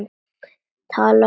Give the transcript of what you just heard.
Talaðu skýrar.